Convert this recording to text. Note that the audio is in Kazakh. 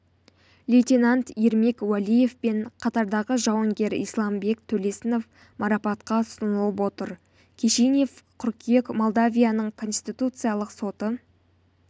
лейтенант ермек уәлиев пен қатардағы жауынгер исламбек төлесінов марапатқа ұсынылып отыр кишинев қыркүйек молдавияның конституциялық соты